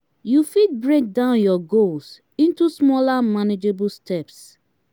you fit break down your goals into smaller manageable steps.